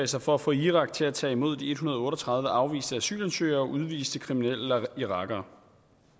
sig for at få irak til at tage imod de en hundrede og otte og tredive afviste asylansøgere og udviste kriminelle irakere